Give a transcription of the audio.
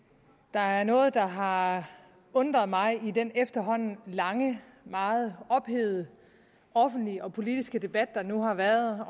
der er noget der har undret mig i den efterhånden lange meget ophedede offentlige og politiske debat der nu har været